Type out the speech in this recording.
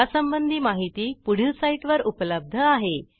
यासंबंधी माहिती पुढील साईटवर उपलब्ध आहे